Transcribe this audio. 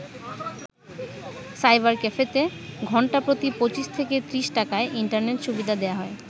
Cyber ক্যাফেতে ঘণ্টা প্রতি ২৫ থেকে ৩০ টাকায় ইন্টারনেট সুবিধা দেয়া হয়।